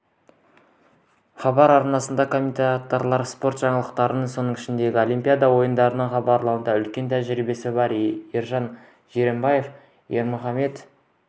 хабар арнасының комментаторлары спорт жаңалықтарын соның ішінде олимпиада ойындарын хабарлауда үлкен тәжірибесі бар ержан жиренбаев ермұхамед